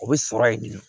O bɛ sɔrɔ yen bilen